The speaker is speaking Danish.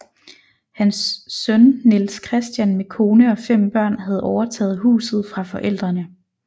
Hans søn Niels Christian med kone og fem børn havde overtaget huset fra forældrene